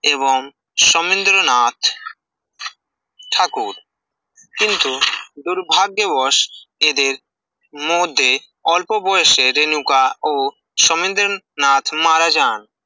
এবং শমীন্দ্রনাথ ঠাকুর কিন্তু দুর্ভাগ্য বোস এদের মধ্যে অল্প বয়সে রেনুকা ও শমীন্দ্রনাথ মারা যান